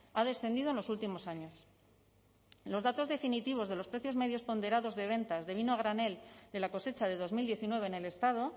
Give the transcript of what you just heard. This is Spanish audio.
ha descendido en los últimos años en los datos definitivos de los precios medios ponderados de ventas de vino a granel de la cosecha de dos mil diecinueve en el estado